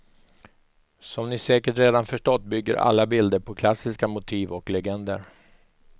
Som ni säkert redan förstått bygger alla bilder på klassiska motiv och legender.